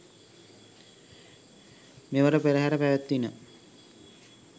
මෙවර පෙරහර පැවැත්විණ.